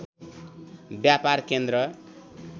व्यापार केन्द्र